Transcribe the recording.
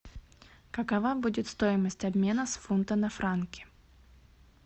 какова будет стоимость обмена с фунта на франки